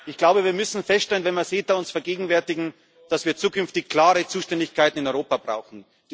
Ich glaube, wir müssen feststellen, wenn wir uns CETA vergegenwärtigen, dass wir zukünftig klare Zuständigkeiten in Europa brauchen.